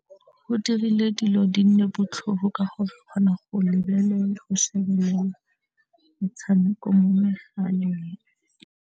Go dirile dilo di nne botlhofo ka go kgona go lebelela, go shebelela metshameko mo megaleng.